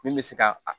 Min bɛ se ka